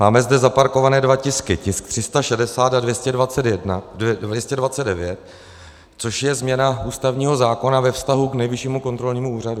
Máme zde zaparkované dva tisky, tisk 360 a 229, což je změna ústavního zákona ve vztahu k Nejvyššímu kontrolnímu úřadu.